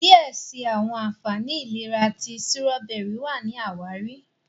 diẹ síi àwọn ànfàní ìlera ti Sírọ́bẹ́rì wá ní àwáàrí.